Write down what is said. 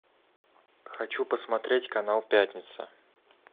хочу посмотреть канал пятница